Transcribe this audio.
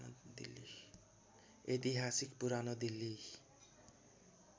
ऐतिहासिक पुरानो दिल्ली